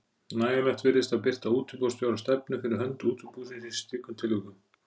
Nægjanlegt virðist að birta útibússtjóra stefnu fyrir hönd útibúsins í slíkum tilvikum.